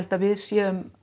að við séum